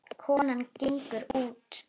Konan gengur út.